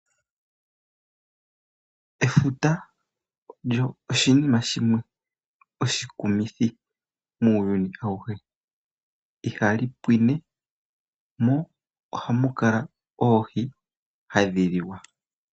Efuta olyo oshinima shimwe oshi kumithi muuyuni awuhe ihali pwine mo ohamukala oohi hadhi liwa.